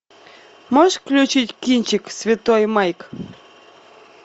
можешь включить кинчик святой майк